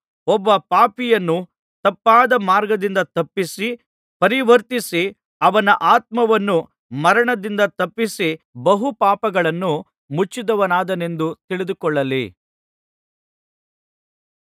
ಒಬ್ಬ ಪಾಪಿಯನ್ನು ತಪ್ಪಾದ ಮಾರ್ಗದಿಂದ ತಪ್ಪಿಸಿ ಪರಿವರ್ತಿಸಿ ಅವನ ಆತ್ಮವನ್ನು ಮರಣದಿಂದ ತಪ್ಪಿಸಿ ಬಹು ಪಾಪಗಳನ್ನು ಮುಚ್ಚಿದವನಾದನೆಂದು ತಿಳಿದುಕೊಳ್ಳಲ್ಲಿ